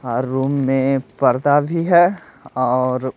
हर room में पर्दा भी है और--